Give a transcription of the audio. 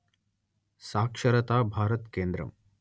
సాక్షరతా భారత్ కేంద్రం